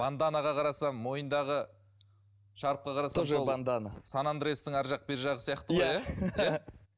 ванданаға қарасам мойындағы шарфқа қарасам сан андрестің арғы жақ бер жағы сияқты ғой иә